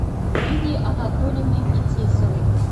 лидией анатольевной фетисовой